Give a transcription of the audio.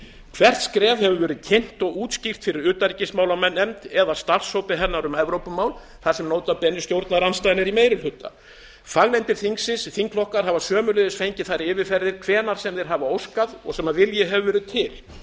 hvert skref hefur verið kynnt og útskýrt fyrir utanríkismálanefnd eða starfshópi hennar um evrópumál þar sem nota bene stjórnarandstaðan er í meiri hluta fagnefndir þingsins og þingflokkar fá sömuleiðis þær yfirferðir hvenær sem þeir hafa óskað og sem vilji hefur verið til